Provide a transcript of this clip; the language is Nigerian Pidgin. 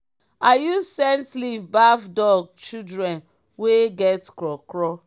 i use scent leave baff dog shilden wey get kro kro.